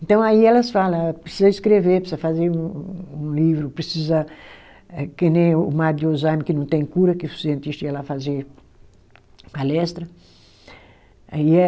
Então aí elas fala, precisa escrever, precisa fazer um um livro, precisa, eh que nem o mal de Alzheimer que não tem cura, que o cientista ia lá fazer palestra. Aí é